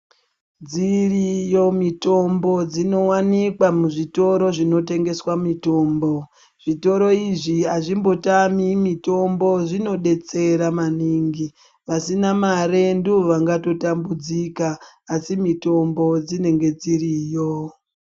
Dziriyo mitombo dzinowanikwa muzvitoro zvinotengeswa mitombo ,zvitoro izvi azvimbotami mitombo zvinodetsera maningi vasina mare ndivo vangatotambudzika asi mitombo dzinenge dziriyo.